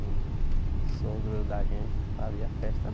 O o sogro da gente fazia festa